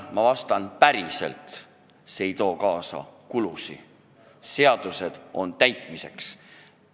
Ma vastan: päriselt ei too see kaasa kulusid, sest seadused on täitmiseks.